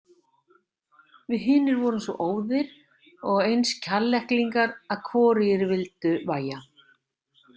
Við hinir vorum svo óðir og eins Kjalleklingar að hvorugir vildu vægja.